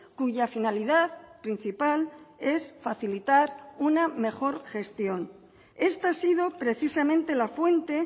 cuya finalidad principal es facilitar una mejor gestión esta ha sido precisamente la fuente